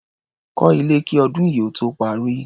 Kọ́ ilé kí ọdún yìí ó tó parí.